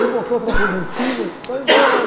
Me botou outra vez lá em cima e foi embora.